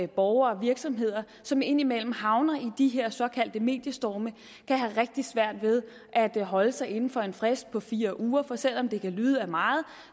borgere og virksomheder som indimellem havner i de her såkaldte mediestorme kan have rigtig svært ved at holde sig inden for en frist på fire uger for selv om det kan lyde af meget